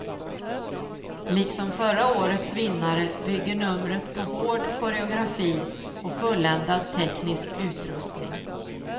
Liksom förra årets vinnare bygger numret på hård koreografi och fulländad teknisk utrustning.